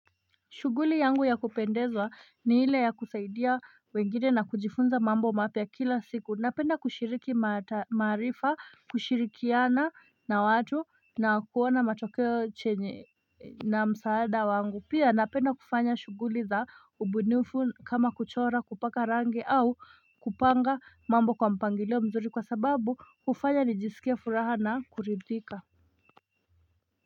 Shughuli yangu ya kupendezwa ni ile ya kusaidia wengine na kujifunza mambo mapya kila siku. Napenda kushiriki maarifa, kushirikiana na watu na kuona machokeo na msaada wangu. Pia napenda kufanya shuguli za ubunifu kama kuchora kupaka rangi au kupanga mambo kwa mpangilio mzuri kwa sababu hufanya ni jisikie furaha na kuridhika.